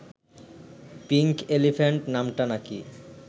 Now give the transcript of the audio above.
pink elephant’ নামটা নাকি